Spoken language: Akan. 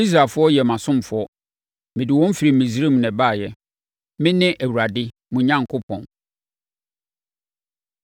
Israelfoɔ yɛ mʼasomfoɔ. Mede wɔn firi Misraim na ɛbaeɛ. Mene Awurade mo Onyankopɔn.